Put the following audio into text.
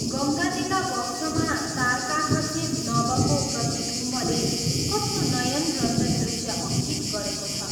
गङ्गाजीका वक्षमा तारकाखचित नभको प्रतिबिम्बले कस्तो नयनरञ्जन दृश्य अंकित गरेको छ।